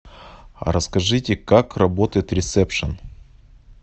расскажите как работает ресепшен